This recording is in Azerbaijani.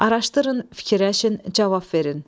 Araşdırın, fikirləşin, cavab verin.